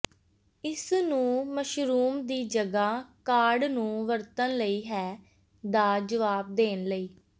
ਇਸ ਨੂੰ ਮਸ਼ਰੂਮ ਦੀ ਜਗ੍ਹਾ ਕਾਰਡ ਨੂੰ ਵਰਤਣ ਲਈ ਹੈ ਦਾ ਜਵਾਬ ਦੇਣ ਲਈ